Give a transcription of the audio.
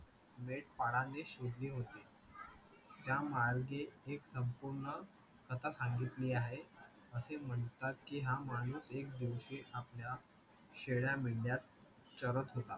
मेंढपाळाने शिरली होती, त्यामार्गे एक संपूर्ण कथा सांगितली आहे असे म्हणतात की हा माणूस एक दिवशी आपल्या शेळ्या-मेंढया चरत होता.